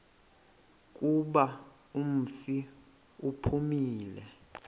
kuba umfi uphumile